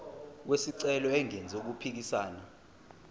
wesicelo engenzi okuphikisana